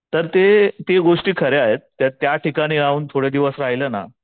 तर ते ते गोष्टी खऱ्या आहेत तर त्याठिकाणी जाऊन थोडी दिवस राहिलं ना